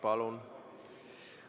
Palun!